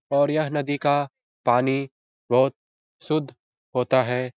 और यह नदी का पानी बहुत शुद्ध होता है।